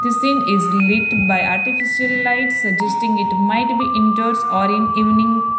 this scene is delete by artificial light suggesting it might be indoors or in evening --